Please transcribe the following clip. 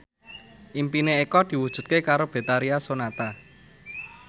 impine Eko diwujudke karo Betharia Sonata